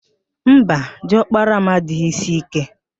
Mba, di ọkpara m adịghị ísí íké